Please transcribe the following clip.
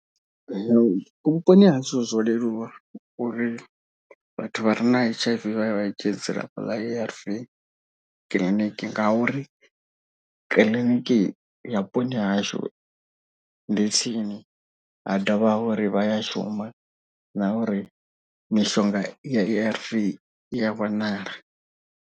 Vhuponi ha hashu zwo leluwa uri vhathu vha re na H_I_V vha ye vha dzhie dzilafho ḽa A_R_V kiḽiniki. Ngauri kiḽiniki ya vhuponi ha hashu ndi tsini ha dovha ha uri vha ya shuma na uri mishonga ya A_R_V i ya wanala.